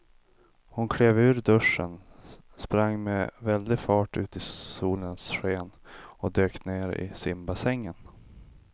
Hon klev ur duschen, sprang med väldig fart ut i solens sken och dök ner i simbassängen.